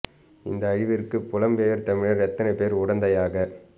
இந்த அழிவிற்கு புலம்பெயர் தமிழர் எத்தனை பேர் உடந்தையாக